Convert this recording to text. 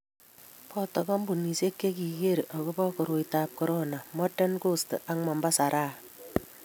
Boto Kampunisiek che kiker akobo koroitab korona Modern coast ak Mombasa Raha